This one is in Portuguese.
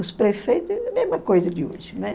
Os prefeito, a mesma coisa de hoje, né?